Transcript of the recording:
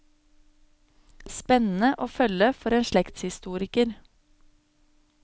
Spennende å følge for en slektshistoriker.